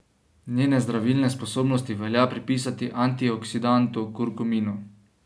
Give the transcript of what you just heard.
Njene zdravilne sposobnosti velja pripisati antioksidantu kurkuminu.